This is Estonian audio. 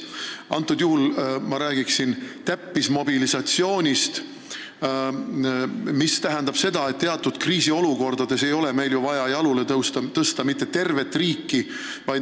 Konkreetselt räägiksin täppismobilisatsioonist, mis tähendab seda, et teatud kriisiolukordades ei ole meil vaja jalule tõsta tervet riiki.